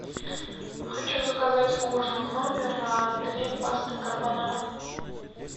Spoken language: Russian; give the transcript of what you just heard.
хочу заказать ужин в номер две пасты карбонара